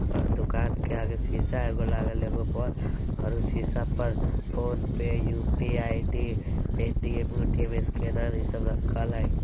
और दुकान के आगे शीशा एगो लागल बोल एगो लागल और उ शीशा पर फोन .पे यू.पी.आई.डी. पेटीएम - उटीयम स्केनर इ सब रखल हेय।